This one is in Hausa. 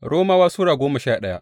Romawa Sura goma sha daya